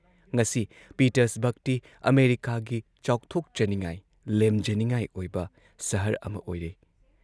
ꯉꯁꯤ ꯄꯤꯇꯔꯁꯕꯔꯒꯇꯤ ꯑꯃꯦꯔꯤꯀꯥꯒꯤ ꯆꯥꯎꯊꯣꯛꯆꯅꯤꯡꯉꯥꯏ, ꯂꯦꯝꯖꯅꯤꯡꯉꯥꯏ ꯑꯣꯏꯕ ꯁꯍꯔ ꯑꯃ ꯑꯣꯏꯔꯦ ꯫